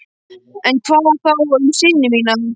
En hvað þá um syni mína?